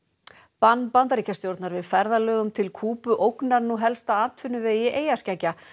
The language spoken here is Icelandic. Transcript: bann Bandaríkjastjórnar við ferðalögum til Kúbu ógnar nú helsta atvinnuvegi eyjaskeggja